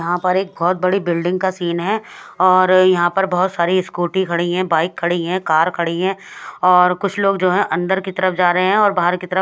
यहाँ पर एक बोहोत बड़ी बिल्डिंग का सीन है और यह पर बोहोत सारी स्कूटी खड़ी है बाइक खड़ी है कार खड़ी है और कुछ लोग जो है अंदर की तरफ जा रहे है और बहार की तरफ--